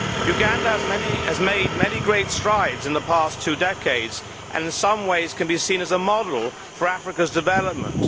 Uganda has made many great strides in the past two decades and, in some ways, can be seen as a model for Africa's development.